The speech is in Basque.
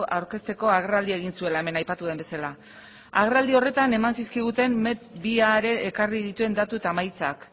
aurkezteko agerraldia egin zuela hemen aipatu den bezala agerraldi horretan eman zizkiguten met biak ekarri dituen datu eta emaitzak